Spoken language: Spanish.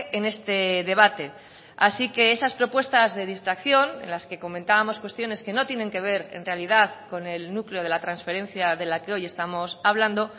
en este debate así que esas propuestas de distracción en las que comentábamos cuestiones que no tienen que ver en realidad con el núcleo de la transferencia de la que hoy estamos hablando